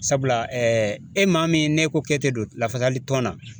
Sabula ɛɛ e maa min n'e ko k'e te don lafasali tɔn na